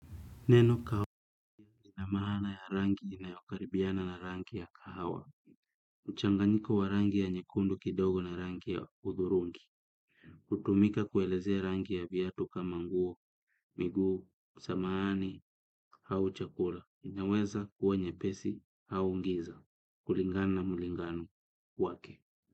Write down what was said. Neno kawa ina maana ya rangi inayokaribiana na rangi ya kahawa. Uchanganyiko wa rangi ya nyekundu kidogo na rangi ya uthurungi. Kutumika kuelezea rangi ya viatu kama nguo, miguu, samahani, hau chakura. Inaweza kuwa nyepesi au ngiza. Kulingana na mlingano wake.